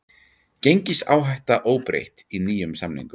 Gengisáhætta óbreytt í nýjum samningum